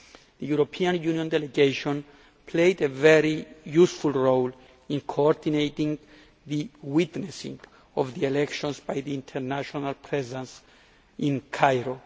The European Union delegation played a very useful role in coordinating the witnessing of the elections by its international presence in Cairo.